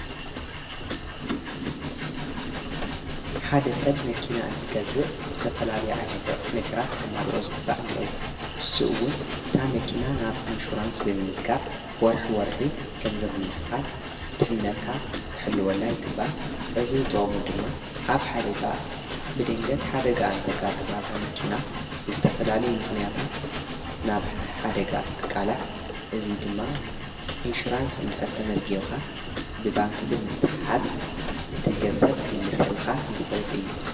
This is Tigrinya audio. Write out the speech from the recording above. ሓደ ሰብ መኪና እንትቀዝእ ዝተፈላልይዐ ነገራት ከማልኦ ዝ ግባዕ እነይዎ እሱኡውን እታ መኪና ናብ ኢንሹራንስ ብምስጋብ ወርኅ ወርሒ ገንዘብምኽፋል ድኅነትካ ክሕልወላይ ይግባ እዝ ዝጥሙ ድማ ኣብ ብድንገት ሓደጋ እንተጋ ጥ ማእዛ መኪና ብዝተፈላል ምኽንያታት ናብ ሓደጋ እንትቃላዕ እዙይ ድማ ኢንሹራንስ እንድኅርተ መዝጌውኻ ብባንኪ ብምትሓዝ እቲገንዘብ ክምልስልኻ ይኽእል እዩ።